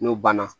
N'o banna